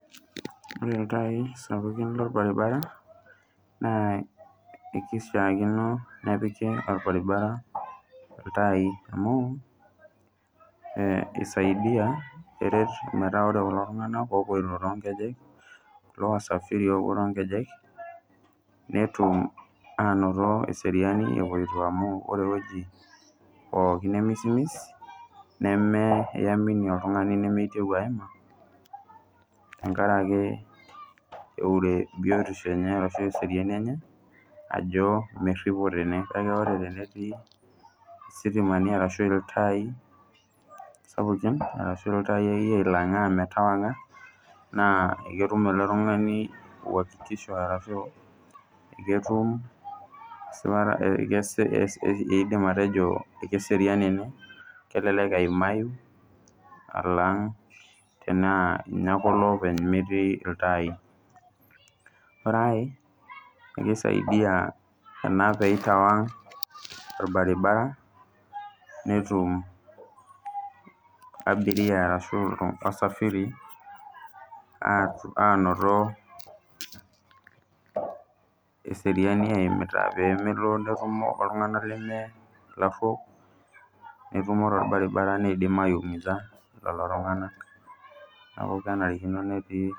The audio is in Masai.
Ore iltai sapukin lorbaribara, naa ekishaakino nepiki orbaribara iltai amu, isaidia eret metaa ore kulo tung'anak opoito tonkejek, kulo wasafiri lopuo tonkejek, netum anoto eseriani epoito amu ore ewoji pookin nemisimis, nemeamini oltung'ani nemeitieu aima, tenkaraki eure biotisho enye ashu eseriani enye, ajo merripo tene. Kake ore tenetii isitimani arashu iltaii sapukin, arashu iltai akeyie oilang'aa metawang'a, naa ketum ele tung'ani uakikisho ashu ketum esipata eidim atejo keserian ene, kelelek eimayu alang' tenaa ninye ake olopiki metii iltai. Ore ai, kisaidia ena pitawang' orbaribara, netum abiria ashu wasafiri, anoto eseriani eimita pemelo netumo oltung'anak leme lariok, netumo torbaribara nidim ai umiza lolo tung'anak. Neeku kenarikino netii.